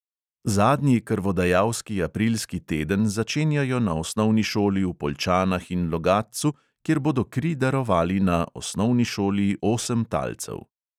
Zadnji krvodajalski aprilski teden začenjajo na osnovni šoli v poljčanah in logatcu, kjer bodo kri darovali na osnovni šoli osem talcev.